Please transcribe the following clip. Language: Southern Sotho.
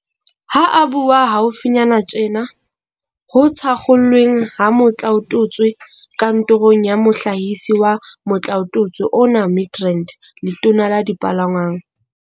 Ha a bua haufinyana tjena ho thakgolweng ha motlaotutswe kantorong ya Mohlahisi wa motlaotutswe ona Midrand, Letona la Dipalangwang.